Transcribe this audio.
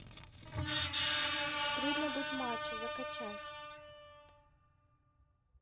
трудно быть мачо закачай